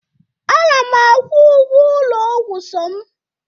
ana m akwụ ụgwọ ụlọ ọgwụ som